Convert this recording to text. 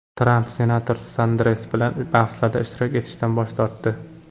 Tramp senator Sanders bilan bahslarda ishtirok etishdan bosh tortdi.